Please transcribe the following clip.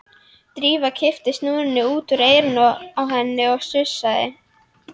Drífa kippti snúrunni út úr eyranu á henni og sussaði.